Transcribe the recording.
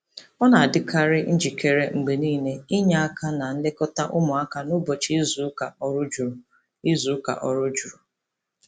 Ọ na-adịkarị njikere mgbe niile inye aka na nlekọta ụmụaka n'ụbọchị izuụka ọrụ juru. izuụka ọrụ juru.